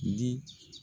Di